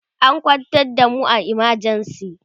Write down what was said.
an kwantar da mu a emergency